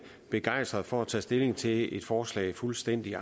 begejstret for at tage stilling til et forslag fuldstændig